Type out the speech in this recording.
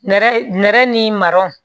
Nɛrɛ nɛrɛ ni marɔ